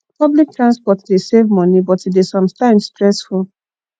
public transport dey save money but e dey sometimes stressful